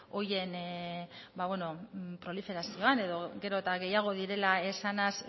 horien ba beno proliferazioan edo gero eta gehiago direla esanaz